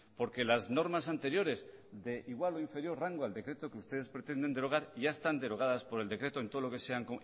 porque las normas anteriores de igual o inferior rango al decreto que ustedes pretenden derogar ya están derogadas por el decreto en todo lo que sean